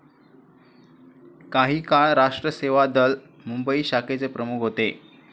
काही काळ राष्ट्र सेवा दल, मुंबई शाखेचे प्रमुख होते.